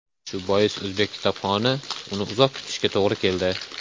Shu bois o‘zbek kitobxoni uni uzoq kutishiga to‘g‘ri keldi.